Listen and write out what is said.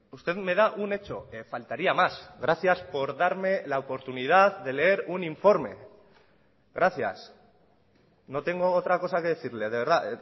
usted me da un hecho faltaría más gracias por darme la oportunidad de leer un informe gracias no tengo otra cosa que decirle de verdad